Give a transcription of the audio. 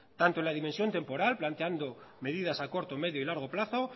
tanto en la dimensión temporal planteando medidas a corto medio y largo plazo